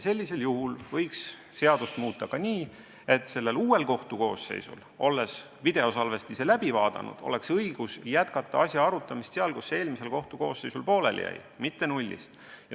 Seadust võiks muuta nii, et uuel kohtukoosseisul oleks õigus pärast videosalvestiste läbi vaatamist jätkata asja arutamist sealt, kus eelmisel koosseisul pooleli jäi, mitte nullist.